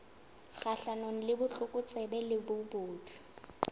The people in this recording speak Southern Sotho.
kgahlanong le botlokotsebe le bobodu